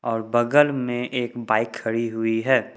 और बगल में एक बाइक खड़ी हुई है।